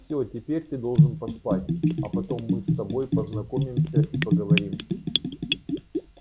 всё теперь ты должен поспать а потом мы с тобой познакомимся и поговорим